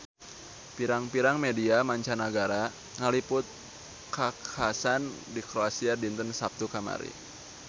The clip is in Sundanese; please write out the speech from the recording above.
Pirang-pirang media mancanagara ngaliput kakhasan di Kroasia dinten Saptu kamari